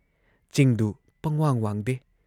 ꯆꯤꯡꯗꯨ ꯄꯪꯋꯥꯡ ꯋꯥꯡꯗꯦ ꯫